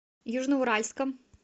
южноуральском